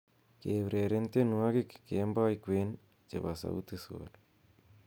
keureren tienywogik kemoi kwen chebo sauti sol